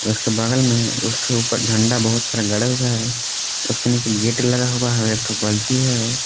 उसके बगल में उसके ऊपर झंडा बहुत सारा गड़ा हुआ है उसके नीचे गेट लगा हुआ है और एक ठो बल्टी है।